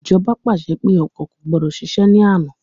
Ìjọba pàṣẹ pé ọkọ̀ kò gbọdọ̀ ṣiṣẹ̀ ní àná